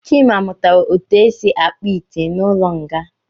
Chima mụtara etu esi akpụ ite n’ụlọnga